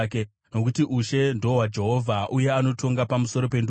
nokuti ushe ndohwaJehovha uye anotonga pamusoro pendudzi.